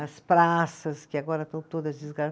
As praças, que agora estão todas